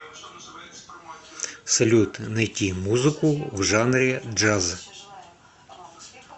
салют найти музыку в жанре джаз